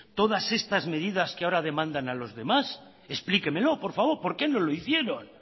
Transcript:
todas esas medidas que ahora demanda a los demás explíquemelo por favor por qué no lo hicieron